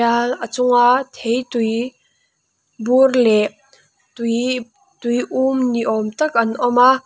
a chunga theitui bur leh tui tui um ni awm tak an awm a.